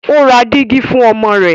o rá Dígí fún ọmọ rẹ.